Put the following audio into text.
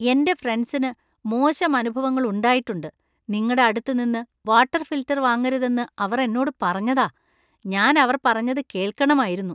എന്‍റെ ഫ്രണ്ട്സിനു മോശം അനുഭവങ്ങൾ ഉണ്ടായിട്ടുണ്ട്, നിങ്ങടെ അടുത്ത് നിന്ന് വാട്ടർ ഫിൽട്ടർ വാങ്ങരുതെന്ന് അവർ എന്നോട് പറഞ്ഞതാ . ഞാൻ അവർ പറഞ്ഞത് കേൾക്കണമായിരുന്നു.